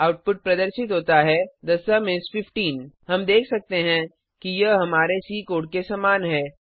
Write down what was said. output प्रदर्शित होता है थे सुम इस 15 हम देख सकते हैं कि यह हमारे सी कोड के समान है